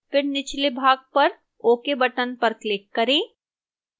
फिर निचले भाग पर ok button पर click करें